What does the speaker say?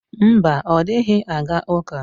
Mba, ọ dịghị aga ụka.